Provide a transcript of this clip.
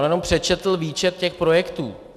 On jenom přečetl výčet těch projektů.